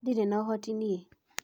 Ndĩrĩ na ũhoti nie.